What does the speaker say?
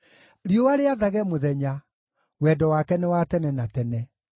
riũa rĩathage mũthenya, Wendo wake nĩ wa tene na tene.